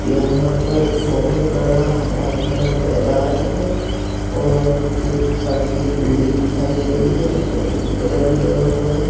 यहाँ पर बहुत बडा हराभरा मैदान है और एक सफेद बिल्डिंग दिखाई दे रही है इधर पिंक कलर भी लगा हुआ है।